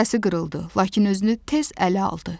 səsi qırıldı, lakin özünü tez ələ aldı.